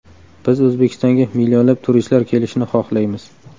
Biz O‘zbekistonga millionlab turistlar kelishini xohlaymiz.